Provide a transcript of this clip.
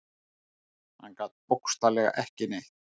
Hann gat bókstaflega ekki neitt.